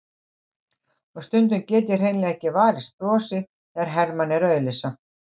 Og stundum get ég hreinlega ekki varist brosi þegar Hermann er að auglýsa.